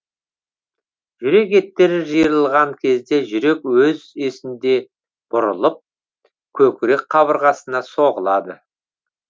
жүрек еттері жиырылған кезде жүрек өз есінде бұрылып көкірек кабырғасына соғылады